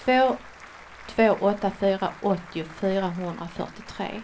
två två åtta fyra åttio fyrahundrafyrtiotre